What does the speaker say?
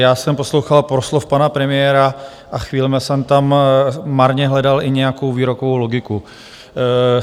Já jsem poslouchal proslov pana premiéra a chvílemi jsem tam marně hledal i nějakou výrokovou logiku.